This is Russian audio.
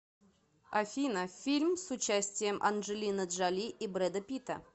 афина фильм с участием анджелины джоли и брэда питта